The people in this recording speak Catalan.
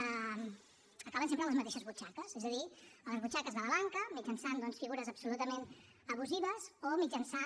acaben sempre a les mateixes butxaques és a dir a les butxaques de la banca mitjançant doncs figures absolutament abusives o mitjançant